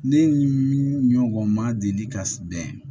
Ne ɲɔgɔn ma deli ka bɛn